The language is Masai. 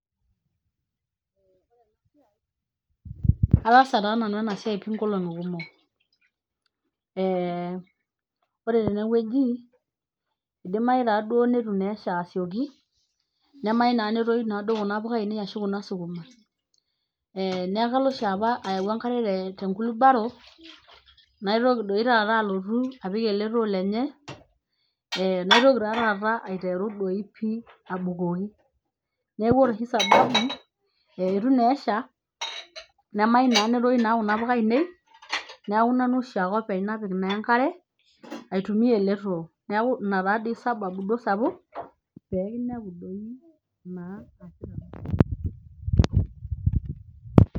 Ataasa taa nanu ena siai pii nkolong'i kumuk, eeh ore tenewueji eidimayu taaduo neitu taa esha asioki, nemayieu naa netoyu naa duo kuna puka ainei arashu sukuma, eeh neeku kalo oshi apa ayau enkare te tenkulubaro, naitoki doi taata alotu apik ele too lenye eeh naitoki taa taata aiteru doi pii abukoki neeku ore oshi sababu eeh eitu naa esha nemayieu naa netoyu naa kuna puka ainei neeku nanu oshiake openy napik naa enkare aitumiya ele too, neeku ina taadoi sababu duo sapuk peekinepu doi naa